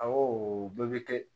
Awɔ bɛɛ bɛ kɛ